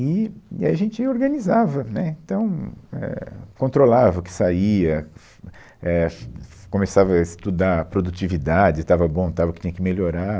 E, e a gente organizava, né, então, éh, controlava o que saía, é, fu, fi, começava a estudar produtividade, estava bom, estava, o que tinha que melhorar.